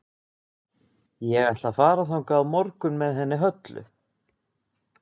Ég ætla að fara þangað á morgun með henni Höllu.